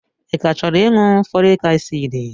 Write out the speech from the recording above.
Ị ka chọrọ ịṅụ fọlik asiidi?